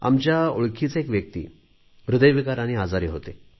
आमच्या ओळखीचे एक व्यक्ती हृदयविकाराने आजारी होते